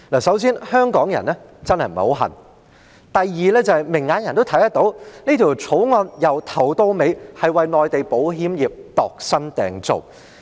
首先，香港人真的並不十分稀罕；第二，明眼人都看得到，這項《條例草案》從頭到尾都是為內地保險業度身訂造。